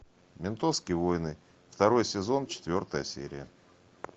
ментовские войны второй сезон четвертая серия